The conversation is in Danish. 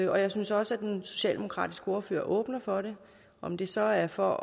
jeg synes også den socialdemokratiske ordfører åbner for det om det så er for